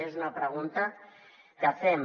és una pregunta que fem